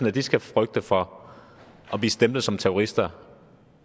at de skal frygte for at blive stemplet som terrorister